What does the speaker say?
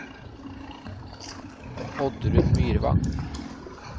Oddrun Myrvang